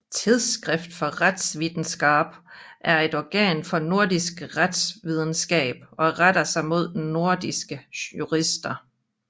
Tidsskrift for Rettsvitenskap er et organ for nordisk retsvidenskab og retter sig mod nordiske jurister